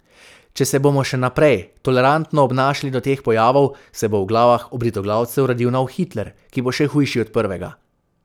Če se bomo še naprej tolerantno obnašali do teh pojavov, se bo v glavah obritoglavcev rodil nov Hitler, ki bo še hujši od prvega.